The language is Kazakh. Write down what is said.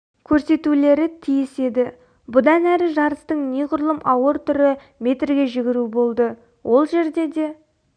көрсетулері тиіс еді бұдан әрі жарыстың неғұрлым ауыр түрі метрге жүгіру болды ол жерде де